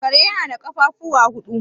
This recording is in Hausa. Kare yana da ƙafafuwa huɗu.